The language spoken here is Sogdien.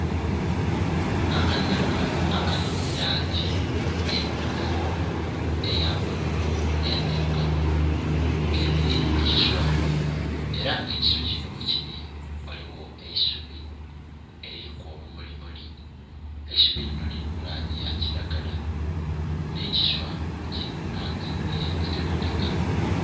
Akanonhi akali nhi langi emyufu, eya bululu nhe ndhirugavu kemeleire ku kiswa era nga ekiswa kino ghekili ghaligho eisubi eliriku obumulimuli. Eisubi linho liri mu langi ya kiragala nh'ekiswa kiri mu langi eya kitakataka.